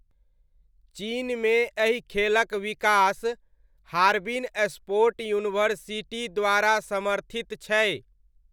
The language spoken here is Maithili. चीनमे एहि खेलक विकास, हार्बिन स्पोर्ट यूनिवर्सिटी द्वारा समर्थित छै।